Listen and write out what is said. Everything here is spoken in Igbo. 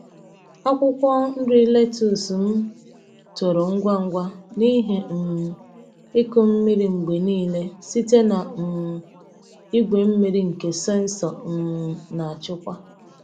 Akwụkwọ nri lettuce m toro ngwa ngwa n’ihi um ịkụ mmiri mgbe niile site na um igwe mmiri nke sensọ um na-achịkwa.